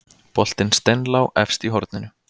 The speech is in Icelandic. Boltinn steinlá efst í horninu